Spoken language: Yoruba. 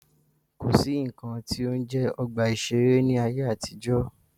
Kò sí nnkan tí ó ń jẹ́ ọgbà ìṣẹ̀rẹ́ ní ayé àtijọ́.